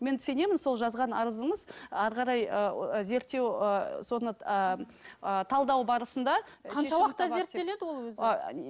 мен сенемін сол жазған арызыңыз ары қарай ыыы зерттеу ыыы соны ыыы талдау барысында